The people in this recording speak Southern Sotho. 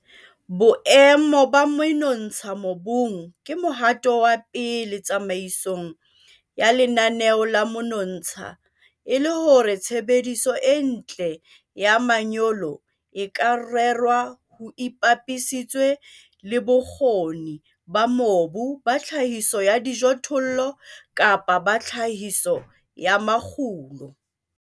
Boemo ba menontsha mobung ke mohato wa pele tsamaisong ya lenaneo la menontsha e le hore tshebediso e ntle ya manyolo e ka rerwa ho ipapisitswe le bokgoni ba mobu ba tlhahiso ya dijothollo kapa ba tlhahiso ya makgulo.